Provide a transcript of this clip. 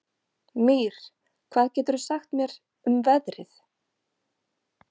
Mír, hvað geturðu sagt mér um veðrið?